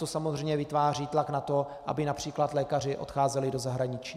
To samozřejmě vytváří tlak na to, aby například lékaři odcházeli do zahraničí.